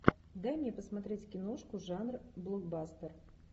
дай мне посмотреть киношку жанр блокбастер